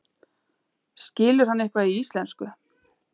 Skilur hann eitthvað í íslensku?